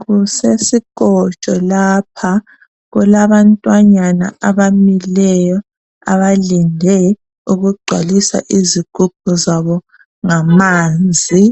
Kusesikotsho lapha kulabantwanyana abamileyo abalinde ukungcwalisa izigubhu zabo ngamanzi